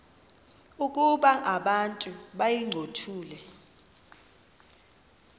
ukuba abantu bayincothule